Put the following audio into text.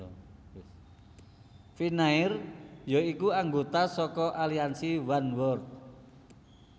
Finnair ya iku anggota saka aliansi Oneworld